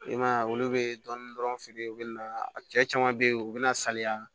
I man ye olu bɛ dɔnni dɔrɔn feere u bɛ na cɛ caman bɛ yen u bɛ na saliya